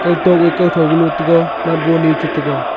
eto gaw kawtho galo tega light bont e chetega.